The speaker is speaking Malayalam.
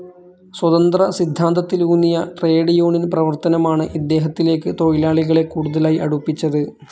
സ്വതന്ത്ര സിദ്ധാന്തത്തിലൂന്നിയ ട്രേഡ്‌ യൂണിയൻ പ്രവർത്തനമാണ് ഇദ്ദേഹത്തിലേക്ക് തൊഴിലാളികളെ കൂടുതലായി അടുപ്പിച്ചത്.